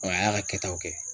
a y'a ka kɛtaw kɛ.